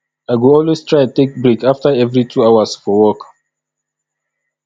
i go always try take break after every two hours for work